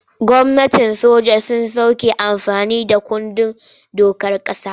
Gwamnatin soja sun soke amfani da kundin dokar ƙasa.